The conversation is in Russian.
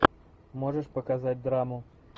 можешь показать драму